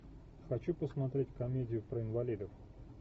хочу посмотреть комедию про инвалидов